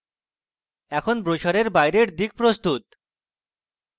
এখন ব্রোসারের বাইরের দিক প্রস্তুত